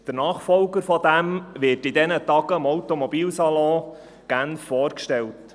Der Nachfolger dieses Fahrzeugs wird in diesen Tagen am Automobilsalon in Genf vorgestellt.